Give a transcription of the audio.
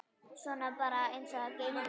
Svona bara eins og gengur.